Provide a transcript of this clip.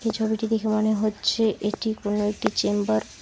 এই ছবিটি দেখে মনে হচ্ছে এটি কোন একটি চেম্বার ।